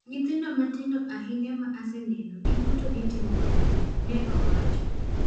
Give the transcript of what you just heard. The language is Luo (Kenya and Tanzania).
"Nyithindo matindo ahinya ma aseneno giduto gitomo maber,"ne owacho.